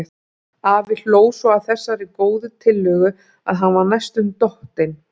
Afi hló svo að þessari góðu tillögu að hann var næstum dottinn.